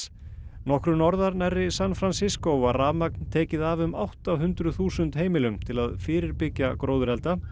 nokkru norðar nærri San var rafmagn tekið af um átta hundruð þúsund heimilum til að fyrirbyggja gróðurelda